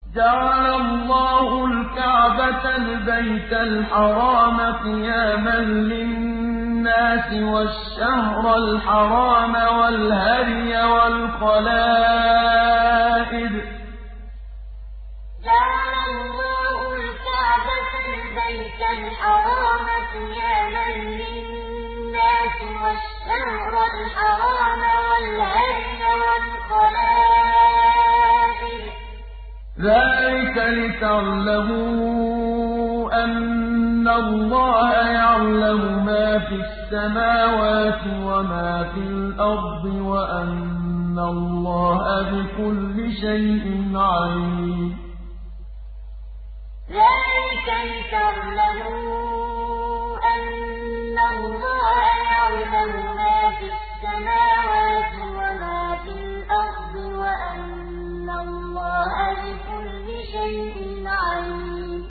۞ جَعَلَ اللَّهُ الْكَعْبَةَ الْبَيْتَ الْحَرَامَ قِيَامًا لِّلنَّاسِ وَالشَّهْرَ الْحَرَامَ وَالْهَدْيَ وَالْقَلَائِدَ ۚ ذَٰلِكَ لِتَعْلَمُوا أَنَّ اللَّهَ يَعْلَمُ مَا فِي السَّمَاوَاتِ وَمَا فِي الْأَرْضِ وَأَنَّ اللَّهَ بِكُلِّ شَيْءٍ عَلِيمٌ ۞ جَعَلَ اللَّهُ الْكَعْبَةَ الْبَيْتَ الْحَرَامَ قِيَامًا لِّلنَّاسِ وَالشَّهْرَ الْحَرَامَ وَالْهَدْيَ وَالْقَلَائِدَ ۚ ذَٰلِكَ لِتَعْلَمُوا أَنَّ اللَّهَ يَعْلَمُ مَا فِي السَّمَاوَاتِ وَمَا فِي الْأَرْضِ وَأَنَّ اللَّهَ بِكُلِّ شَيْءٍ عَلِيمٌ